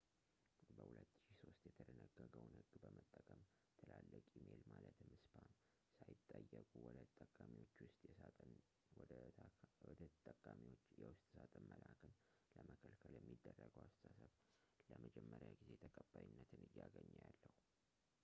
በ2003 የተደነገገውን ሕግ በመጠቀም ትላልቅ ኢሜል ማለትም spam ሳይጠየቁ ወደ ተጠቃሚዎች የውስጥ ሳጥን መላክን ለመከልከል የሚደረገው አስተሳሰብ ለመጀመሪያ ጊዜ ተቀባይነት እያገኘ ያለው